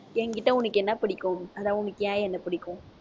என்கிட்ட உனக்கு என்ன பிடிக்கும் அதான் உனக்கு ஏன் என்னை பிடிக்கும்